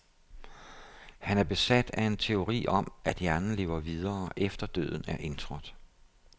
Han er besat af en teori om, at hjernen lever videre, efter døden er indtrådt.